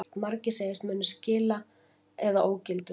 Margir segjast munu skila eða ógildu